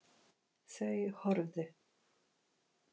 Þau horfðu.